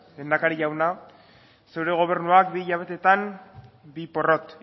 lehendakari jauna zure gobernuak bi hilabeteetan bi porrot